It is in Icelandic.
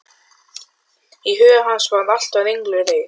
Í huga hans var allt á ringulreið.